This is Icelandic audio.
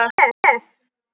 Bréf?